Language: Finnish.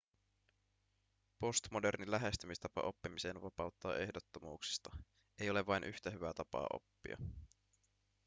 postmoderni lähestymistapa oppimiseen vapauttaa ehdottomuuksista ei ole vain yhtä hyvää tapaa oppia